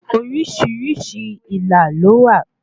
Orísìírísìí ilà ló wà